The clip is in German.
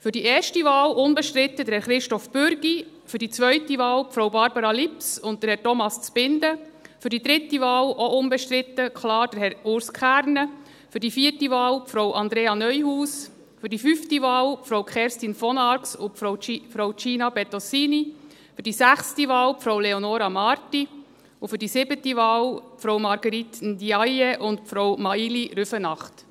Für die erste Wahl unbestritten Herrn Christoph Bürki, für die zweite Wahl Frau Barbara Lips und Herrn Thomas Zbinden, für die dritte Wahl, auch unbestritten, klar Herrn Urs Kernen, für die vierte Wahl Frau Andrea Neuhaus, für die fünfte Wahl Frau Kerstin von Arx und Frau Gina Bettosini, für die sechste Wahl Frau Leonora Marti und für die siebte Wahl Frau Marguerite Ndiaye und Frau Maïli Rüfenacht.